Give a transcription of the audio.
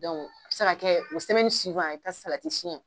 Dɔnku a bɛ se ka kɛ o i bɛ taa salati sɛn